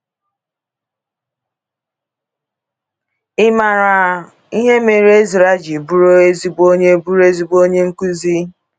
Ị maara ihe mere Ezra ji bụrụ ezigbo onye bụrụ ezigbo onye nkuzi?